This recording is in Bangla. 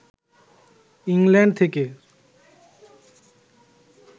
ইংল্যাণ্ড থেকে